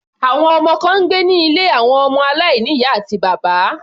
Àwọn ọmọ kan ń gbé ní ilé àwọn ọmọ aláìní ìyá àti bàbá.